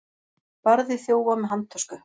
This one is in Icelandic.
Barði þjófa með handtösku